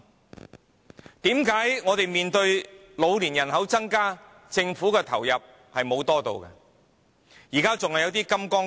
為甚麼我們面對老年人口增加，政府投入資源的比率卻沒有增加？